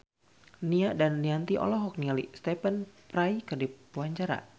Nia Daniati olohok ningali Stephen Fry keur diwawancara